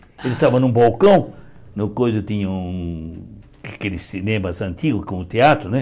Ele estava num balcão, no coisa tinha um, aqueles cinemas antigos com teatro, né?